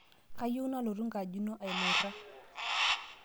Kayieu nalotu ngaji ino ailura